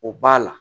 O b'a la